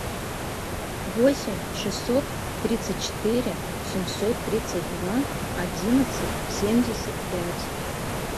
восемь шестьсот тридцать четыре семьсот тридцать два одиннадцать семьдесят пять